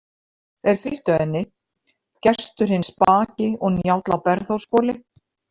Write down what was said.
Þeir fylgdu henni, Gestur hinn spaki og Njáll á Bergþórshvoli.